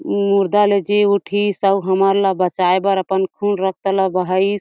उ मुर्दा ल जीव उठीस अउ हमन ल बचाए बर अपन खून रक्त ल बहइश--